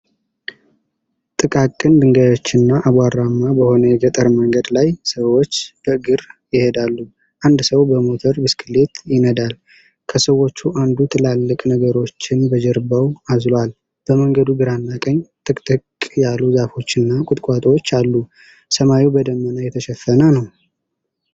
ጥቃቅን ድንጋዮችና አቧራማ በሆነ የገጠር መንገድ ላይ ሰዎች በእግር ይሄዳሉ፣ አንድ ሰው በሞተር ብስክሌት ይነዳል። ከሰዎቹ አንዱ ትላልቅ ነገሮችን በጀርባው አዝሎአል። በመንገዱ ግራና ቀኝ ጥቅጥቅ ያሉ ዛፎችና ቁጥቋጦዎች አሉ። ሰማዩ በደመና የተሸፈነ ነው።